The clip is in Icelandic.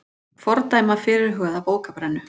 Fordæma fyrirhugaða bókabrennu